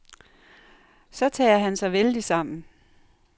Så tager han sig vældigt sammen.